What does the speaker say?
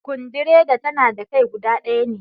Sukundireda tana da kai kuda ɗaya ne